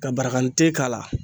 Ka baragante k'a la